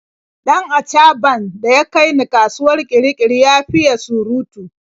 Dan achaɓan da ya kai ni kasuwar Kirikiri ya fiye surutu.